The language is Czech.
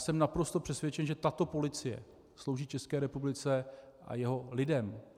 Jsem naprosto přesvědčen, že tato policie slouží České republice a jejím lidem.